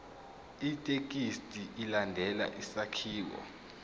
ithekisthi ilandele isakhiwo